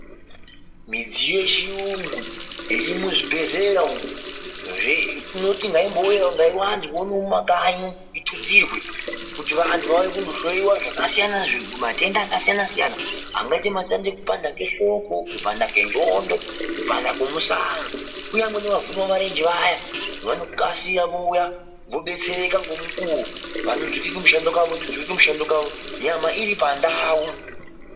Midziyo yechiyungu, iri muzvibhedhlera umu, tinoti ngaibowanzwa ngemumakanyi, itutsirwe, kuti antu vauye kuzohloyiwa zvakasiyana, matenda akasiyana siyana. Angaite matenda ekupanda kwehloko, kupanda kwenxondo, kupanda kwemushana. Uye nevaguke marenje vaya , vanokasira vouya vodetsereka ngomukuwo, vopetuka kumishando kwawvo nyama iri pandau.